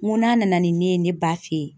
N ko n'a nana ni min ye ne ba fɛ yen